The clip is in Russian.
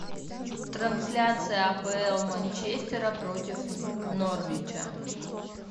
трансляция апл манчестера против норвича